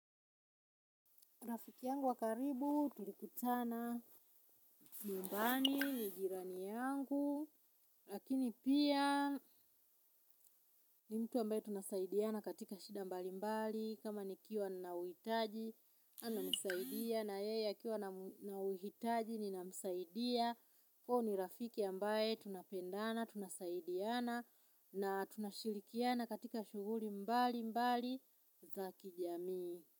Rangi wangu wa karibu tulikutana nyumbani, ni jirani yangu lakini pia ni mtu ambaye tunasaidiana katika shida mbali mbali, kama nikiwa nina uhitaji ananisaidia, na yeye akiwa na uhitaji ninamsaidia, huyu ni rafiki ambaye tunapendana, tunasaidiana, na tunashirikiana katika shughuli mbali mbali za kijamii.